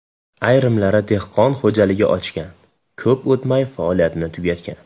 Ayrimlari dehqon xo‘jaligi ochgan, ko‘p o‘tmay faoliyatini tugatgan.